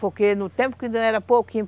Porque no tempo pouquinho.